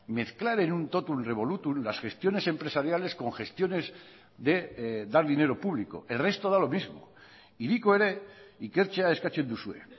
mezclar en un totum revolutum las gestiones empresariales con gestiones de dar dinero público el resto da lo mismo hiriko ere ikertzea eskatzen duzue